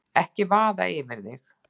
Ekki láta vaða yfir þig.